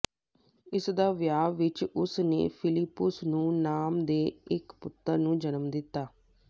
ਇਸ ਦਾ ਵਿਆਹ ਵਿਚ ਉਸ ਨੇ ਫ਼ਿਲਿੱਪੁਸ ਨੂੰ ਨਾਮ ਦੇ ਇੱਕ ਪੁੱਤਰ ਨੂੰ ਜਨਮ ਦਿੱਤਾ